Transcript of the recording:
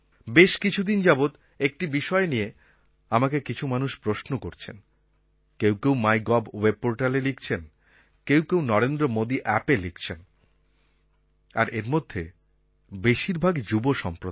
বেশ কিছুদিন যাবৎ একটি বিষয় নিয়ে আমাকে কিছু মানুষ প্রশ্ন করছেন কেউ কেউ মাইগভ webportalএ লিখছেন কেউ কেউ নরেন্দ্র মোদি Appএ লিখছেন আর এরমধ্যে বেশিরভাগই যুব সম্প্রদায়